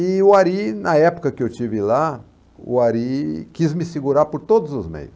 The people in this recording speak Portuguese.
E o Ari, na época que eu estive lá, o Ari quis me segurar por todos os meios.